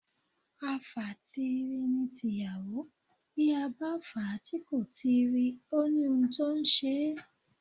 Àfàtiiri ni tiyàwó, bí a bá fà á tí kò tiiri, ó ni ohun tó ǹ ṣe é.